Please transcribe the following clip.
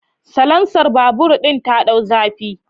Salansar babur din ta dau zafi